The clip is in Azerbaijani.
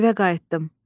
Evə qayıtdım.